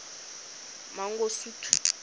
mangosuthu